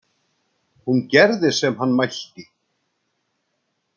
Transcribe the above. Hún gerði sem hann mælti.